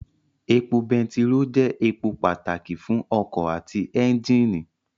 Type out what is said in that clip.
Epo bẹntiró jẹ́ èpò pàtàkì fún ọkọ̀ àti ẹ́njìnì